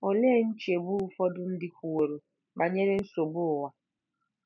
Olee nchegbu ụfọdụ ndị kwuworo banyere nsogbu ụwa?